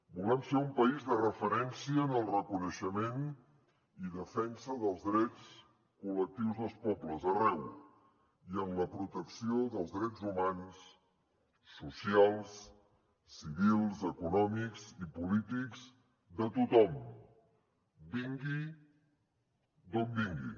volem ser un país de referència en el reconeixement i defensa dels drets col·lectius dels pobles arreu i en la protecció dels drets humans socials civils econòmics i polítics de tothom vingui d’on vingui